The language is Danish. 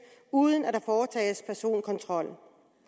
uden at der foretages personkontrol